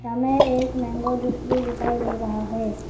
हमें एक mango juice भी दिखाई दे रहा है।